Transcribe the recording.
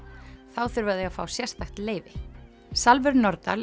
þá þurfa þau að fá sérstakt leyfi Salvör Nordal